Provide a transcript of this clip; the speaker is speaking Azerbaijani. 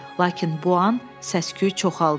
Lakin bu an səs-küy çoxaldu.